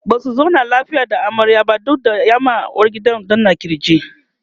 Basu zauna lafiya da amaryar ba duk da ya ma uwargidan danna kirki